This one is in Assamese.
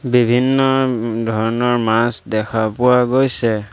বিভিন্ন ম ম ধৰণৰ মাছ দেখা পোৱা গৈছে।